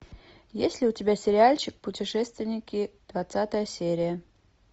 есть ли у тебя сериальчик путешественники двадцатая серия